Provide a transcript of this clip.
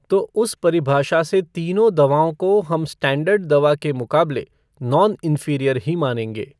तो उस परिभाषा से तीनों दवाओं को हम स्टैण्डर्ड दवा के मुकाबले नॉन इंफीरियर ही मानेंगे।